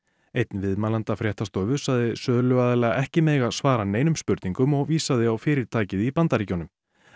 einn viðmælenda fréttastofu sagði söluaðila ekki mega svara neinum spurningum og vísaði á fyrirtækið í Bandaríkjunum